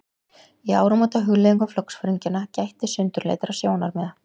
Í áramótahugleiðingum flokksforingjanna gætti sundurleitra sjónarmiða.